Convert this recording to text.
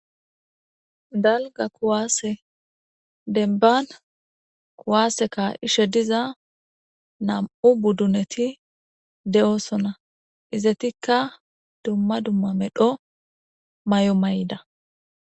Dalga kuwaase denban kuwaaseka ishe diza nam'u budduneti de'osona izetikka dumma dumma medho may'o may'da.